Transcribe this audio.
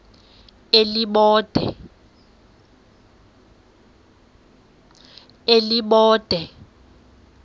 elibode